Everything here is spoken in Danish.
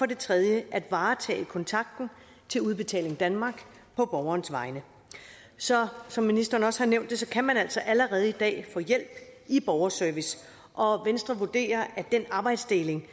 det tredje er at varetage kontakten til udbetaling danmark på borgerens vegne så som ministeren også nævnte kan man altså allerede i dag få hjælp i borgerservice og venstre vurderer at den arbejdsdeling